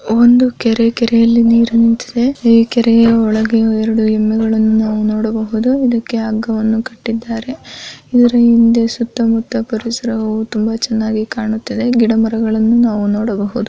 ಒಂದು ಕೆರೆ ಕೆರೆಯಲ್ಲಿ ನೀರು ನಿಂತಿದೆ ಈ ಕೆರೆಯ ಒಳಗೆ ಎರಡು ಹೆಮ್ಮೆಗಳನ್ನು ನಾವು ನೋಡಬಹುದು ಇದಕ್ಕೆ ಹಗ್ಗವನ್ನು ಕಟ್ಟಿದ್ದಾರೆ ಇದರ ಹಿಂದೆ ಸುತ್ತಮುತ್ತ ಪರಿಸರವು ತುಂಬಾ ಚೆನ್ನಾಗಿದೆ ಕಾಣುತ್ತಿದೆ ಗಿಡಮರಗಳನ್ನು ನೋಡಬಹುದು.